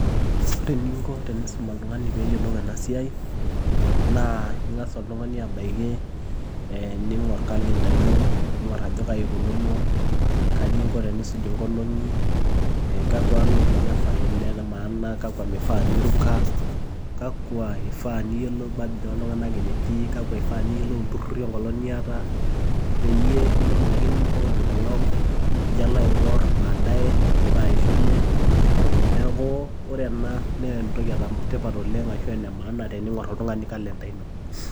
Ore ening'o eniisum oltung'ani pee eyiolou ena siai naa eng'as oltung'ani abaki niing'orr kalenda ino niing'orr ajo kaji eikununo, kaji engo teniisuj engolong'i, ee kakwa olong'i enefaii ene maana Kwa meifaa niruka, kakwa eifaa niyiolou birthday oltung'anak enetii, kakwa eifaa niyiolou ilturrurri engolong' niyata, peyie melo ake nipok engolong' Nijo alo aing'orr baadae eidipa aishunye, neeku ore ena naa entoki etipat oleng' ashu ene maana teniing'orr oltung'ani kalenda ino.